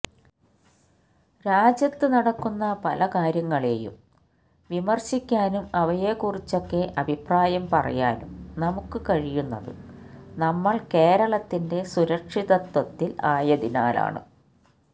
രാജ്യത്ത് നടക്കുന്ന പല കാര്യങ്ങളേയും വിമര്ശിക്കാനും അവയെക്കുറിച്ചൊക്കെ അഭിപ്രായം പറയാനും നമുക്ക് കഴിയുന്നത് നമ്മള് കേരളത്തിന്റെ സുരക്ഷിതത്വത്തില് ആയതിനാലാണ്